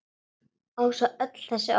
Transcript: Og svo öll þessi orð.